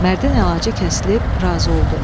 Mərdin əlacı kəsilib razı oldu.